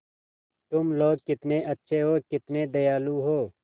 तुम लोग कितने अच्छे हो कितने दयालु हो